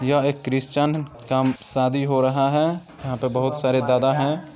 यह एक क्रिश्चियन का शादी हो रहा है यहां बहुत सारे दादा हैं।